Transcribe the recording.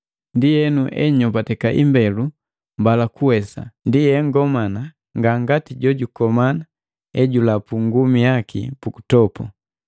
Ndienu enyombateka imbelu mbala kuwesa, ndi engomana, ngangati jojukomana ejulapu ngumi yaki pukutopu.